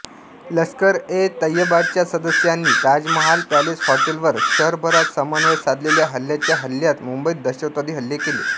लष्करएतैयबाच्या सदस्यांनी ताजमहाल पॅलेस हॉटेलवर शहरभरात समन्वय साधलेल्या हल्ल्यांच्या हल्ल्यात मुंबईत दहशतवादी हल्ले केले